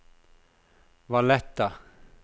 Valletta